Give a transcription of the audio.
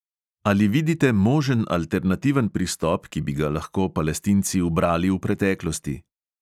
Ali vidite možen alternativen pristop, ki bi ga lahko palestinci ubrali v preteklosti?